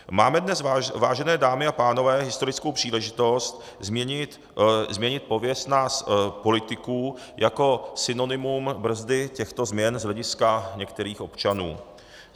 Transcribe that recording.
Máme dnes, vážené dámy a pánové, historickou příležitost změnit pověst nás politiků jako synonymum brzdy těchto změn z hlediska některých občanů.